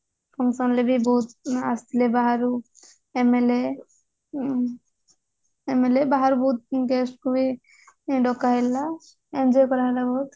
function ରେ ବି ବହୁତ ଆସିଥିଲେ ବାହାରୁ MLA MLA ବାହାରୁ ବହୁତ guest ଙ୍କୁ ବି ଡକା ହେଇଥିଲା enjoy କରାହେଲା ବହୁତ